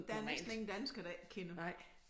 Der er næsten ingen danskere der ikke kender